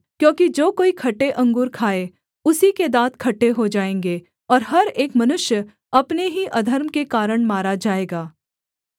क्योंकि जो कोई खट्टे अंगूर खाए उसी के दाँत खट्टे हो जाएँगे और हर एक मनुष्य अपने ही अधर्म के कारण मारा जाएगा